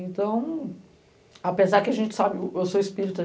Então, apesar que a gente sabe, eu sou espírita,